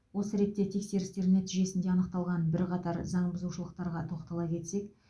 осы ретте тексерістер нәтижесінде анықталған бірқатар заңбұзушылықтарға тоқтала кетсек